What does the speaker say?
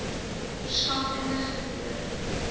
verskaf inligting oor